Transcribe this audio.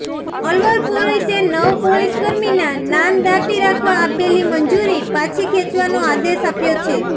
અલવર પોલીસે નવ પોલીસકર્મીનાં નામ દાઢી રાખવા આપેલી મંજૂરી પાછી ખેંચવાનો આદેશ આપ્યો છે